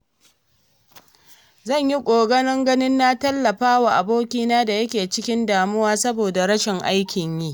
Zan yi ƙoƙarin ganin na tallafa wa abokina da yake cikin damuwa saboda rashin aikin yi.